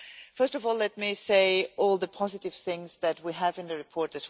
First of all, let me say all the positive things we have in the report.